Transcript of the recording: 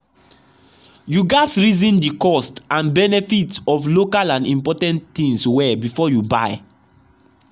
you gatz reason the cost and benefit of local and imported things well before you buy.